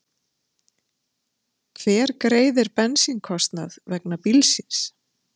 Hver greiðir bensínkostnað vegna bílsins?